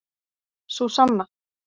Súsanna